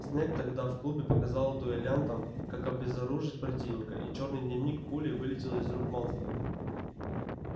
снегг тогда в клубе показал дуэлянтам как обезоружить противника и чёрный дневник пулей вылетел из рук малфоя